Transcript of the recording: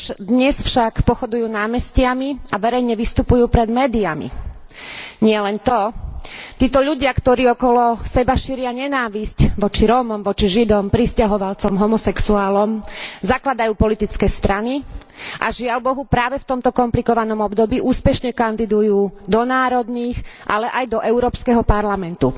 Dnes však pochodujú námestiami a verejne vystupujú pred médiami. Nielen to, títo ľudia, ktorí okolo seba šíria nenávisť voči Rómom, voči Židom, prisťahovalcom, homosexuálom, zakladajú politické strany a, žiaľbohu, práve v tomto komplikovanom období úspešne kandidujú do národných, ale aj do Európskeho parlamentu.